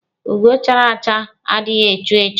Ugo chara acha adịghị echu echu.